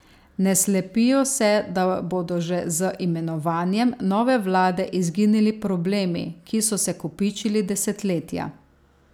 Ne slepijo se, da bodo že z imenovanjem nove vlade izginili problemi, ki so se kopičili desetletja.